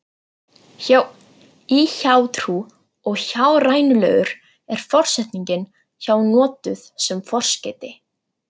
Hjá- í hjátrú og hjárænulegur er forsetningin hjá notuð sem forskeyti.